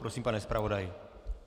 Prosím, pane zpravodaji.